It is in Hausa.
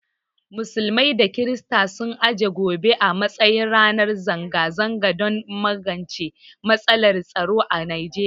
Musulmai da kirstoci sun aje gobe a matsayin ranar zanga zanga don magance matsalar tsaro a Nigeriya.